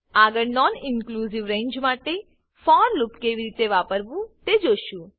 આગળ non inclusive range માટે for loop કેવી રીતે વાપરવું તે જોશું